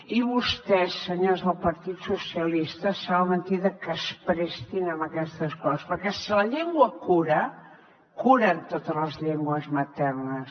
i vostès senyors del partit socialista sembla mentida que es prestin a aquestes coses perquè si la llengua cura curen totes les llengües maternes